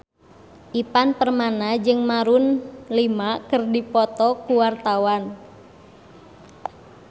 Ivan Permana jeung Maroon 5 keur dipoto ku wartawan